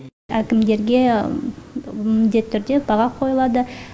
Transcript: әкімдерге міндетті түрде баға қойылады